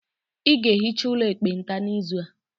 Ị ga-ehicha ụlọ ekpenta n'izu a.